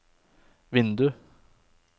vindu